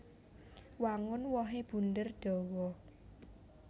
Wangun wohé bunder dawa